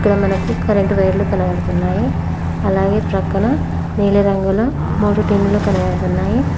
అక్కడ మనకు కరెంట్ వైర్లు కనబడుతున్నాయి అలాగే ప్రక్కన నీలిరంగుల మూడు టిన్లు కనబడుతున్నాయి.